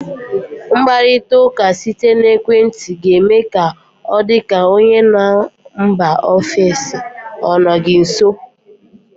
Mkparita ụka site n'ekwenti ga eme ka ọ dị ka onye nọ mba ofesi ọ nọ gị nso.